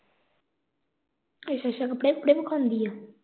ਅੱਛਾ-ਅੱਛਾ ਕੱਪੜੇ-ਕੁਪੜੇ ਵਖਾਉਂਦੀ ਆ?